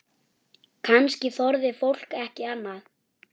Kannski þorði fólk ekki annað?